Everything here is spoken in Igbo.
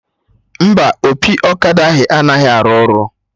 Mba, opi ọkada ahụ anaghị arụ ọrụ